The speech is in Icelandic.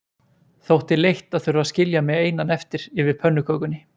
Þótti leitt að þurfa að skilja mig einan eftir yfir pönnukökunni.